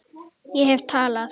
Ég hef talað.